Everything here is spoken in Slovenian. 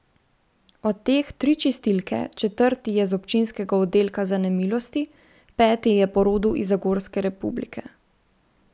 Od teh tri čistilke, četrti je z občinskega oddelka za nemilosti, peti je po rodu iz zagorske republike.